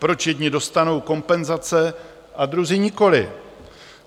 Proč jedni dostanou kompenzace a druzí nikoliv?